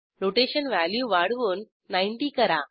rotation value वाढवून 90 करा